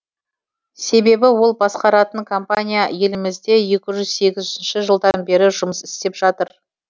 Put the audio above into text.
себебі ол басқаратын компания елімізде екі жүз сегізінші жылдан бері жұмыс істеп жатыр